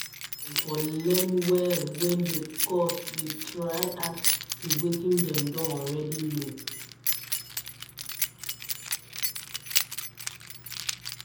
Dem for learn well when di course dey try add to wetin dem don already know